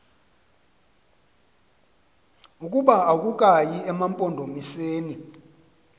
ukuba akukayi emampondomiseni